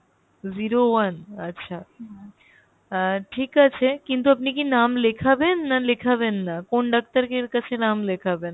zero one আচ্ছা আহ ঠিক আছে, কিন্তু আপনি কি নাম লেখাবেন না লেখাবেন না ? কোন ডাক্তারকে এর কাছে নাম লেখাবেন ?